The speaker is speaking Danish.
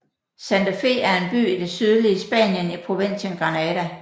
Santa Fe er en by i det sydlige Spanien i provinsen Granada